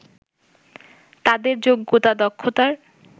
তাদের যোগ্যতা-দক্ষতার